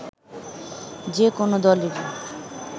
যে কোনো দলেরই